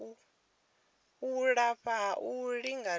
u lafha ha u lingedza